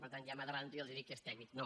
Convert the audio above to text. per tant ja m’avanço i els dic que és tècnic no